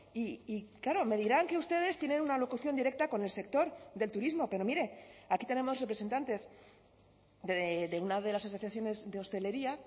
y claro me dirán que ustedes tienen una locución directa con el sector del turismo pero mire aquí tenemos representantes de una de las asociaciones de hostelería